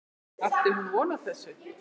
Átti hún von á þessu?